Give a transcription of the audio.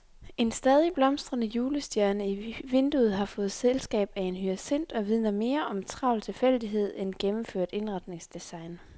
En stadig blomstrende julestjerne i vinduet har fået selskab af en hyacint og vidner mere om travl tilfældighed end gennemført indretningsdesign.